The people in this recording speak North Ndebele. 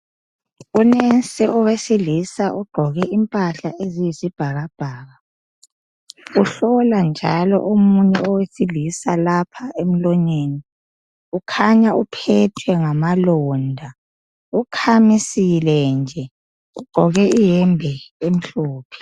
Unesi wesilisa ugqoke impahla oyisibhakabhaka. Uhlola omunye owesilisa, lapha emlonyeni.. Ukhanya uphethwe ngamalonda. Ukhamisile nje. Ugqoke iyembe emhlophe.